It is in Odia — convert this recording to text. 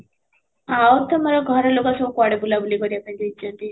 ଆଉ ତମର ଘର ଲୋକ ସବୁ କୁଆଡେ ବୁଲା ବୁଲି କରିବାକୁ ଯାଇଛନ୍ତି?